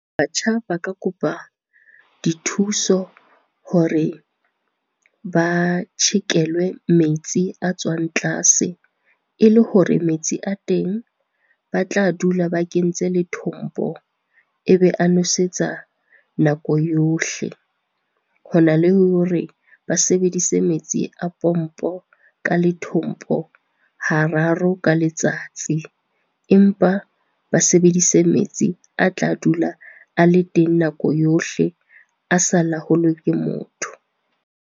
Batjha ba ka kopa dithuso hore ba tjhekelwe metsi a tswang tlase, e le hore metsi a teng ba tla dula ba kentse lethombo e be a nosetsa nako yohle. Hona le hore ba sebedise metsi a pompo ka lethombo, hararo ka letsatsi. Empa ba sebedise metsi a tla dula a le teng ka nako yohle, a sa laolwe ke motho.